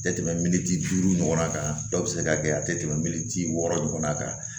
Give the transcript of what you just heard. Tɛ tɛmɛ minti duuru ɲɔgɔnna kan dɔw bɛ se ka kɛ a tɛ tɛmɛ minti wɔɔrɔ ɲɔgɔn kan